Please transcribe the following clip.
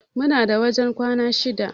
Muna da wajen kwana shida.